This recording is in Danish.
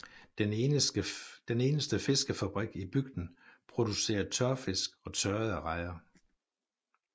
Den eneste fiskefabrik i bygden producerer tørfisk og tørrede rejer